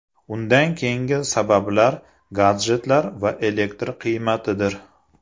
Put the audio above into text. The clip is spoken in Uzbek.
Undan keyingi sabablar gadjetlar va elektr qiymatidir.